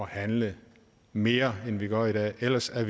handle mere end vi gør i dag ellers er